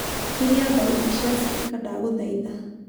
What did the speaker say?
kĩria thaũtĩ cĩa spika ndagũthaĩtha